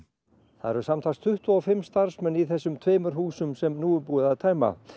það eru samtals tuttugu og fimm starfsmenn í þessum tveimur húsum sem nú er búið að tæma